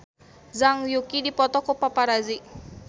Zhang Yuqi dipoto ku paparazi